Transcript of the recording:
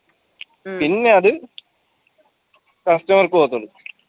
പിന്നെ അത് customer ക്ക് പോകത്തുള്ളൂ